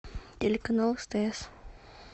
телеканал стс